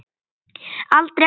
Aldrei, aldrei.